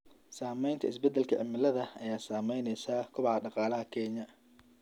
Saamaynta isbeddelka cimilada ayaa saamaynaysa kobaca dhaqaalaha Kenya.